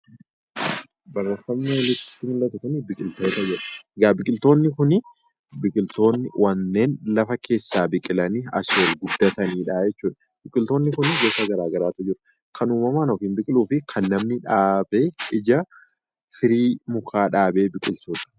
Barreeffamni olitti mul'atu kun biqiltoota jedha. Egaa biqiltoonni kuni biqiltoota lafa keessaa biqilanii asii ol guddatanidha jechuudha. Biqiltoonni kunniin gosa garagaraatu jiru. Kan uumamaan ofiin biqiluufi kan namni dhaabee ijaa/firii mukaa dhaabee biqilchu.